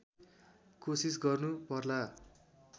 कोसिस गर्नु पर्ला